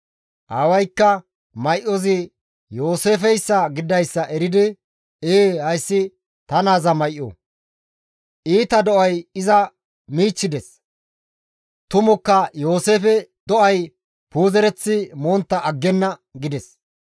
Aawaykka may7ozi Yooseefeyssa gididayssa eridi, «Ee hayssi ta naaza may7o! Iita do7ay iza michchides; tumukka Yooseefe do7ay puuzereththi montta aggenna» gides.